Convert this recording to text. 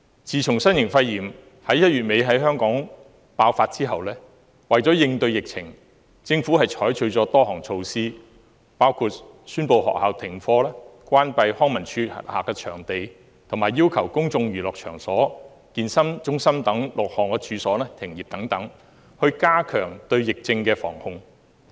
自從新型肺炎於1月底在香港爆發後，為應對疫情，政府採取了多項措施，包括宣布學校停課、關閉康樂及文化事務署轄下的場地，以及要求公眾娛樂場所和健身中心等6項處所停業等，以加強對疫症的防控。